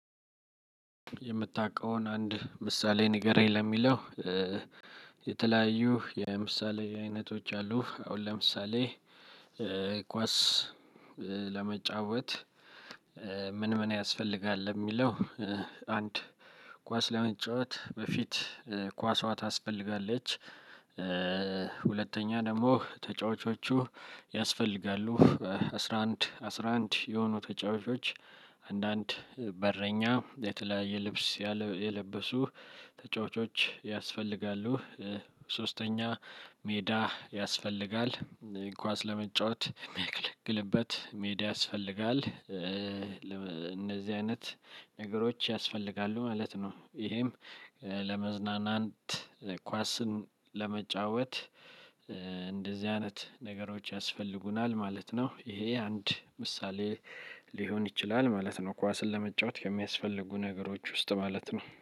የምታቀውን አንድ ምሳሌ ንገረኝ ለሚለው የተለያዩ የምሳሌ አይነቶች አሉ። አሁን ለምሳሌ ኳስ ለመጫወት ምን ምን ያስፈልጋል ለሚለው አንድ ኳስ ለመጫወት በፊት ኳሷ ታስፈልጋለች። ሁለተኛ ደግሞ ተጫዋቾቹ ያስፈልጋሉ በአስራ አንድ አስራ አንድ የሆኑ ተጫዋቾች አንዳንድ በረኛ የተለያየ ልብስ የለበሱ ተጫዋቾች ያስፈልጋሉ። ሶስተኛ ሜዳ ያስፈልጋል ኳስ ለመጫወት የሚያገለግልበት ሜዳ ያስፈልጋል። እነዚህ አይነት ነገሮች ያስፈልጋሉ ማለት ነው። ይሄም ለመዝናናት ኳስም ለመጫወት እንደዚህ አይነት ነገሮች ያስፈልጉናል ማለት ነው። ይሄ አንድ ምሳሌ ሊሆን ይችላል። ማለት ነው